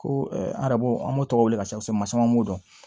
Ko arabu an b'o tɔgɔ wele ka ca kosɛbɛ ma caman b'o dɔn